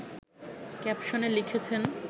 ক্যাপশনে লিখেছেন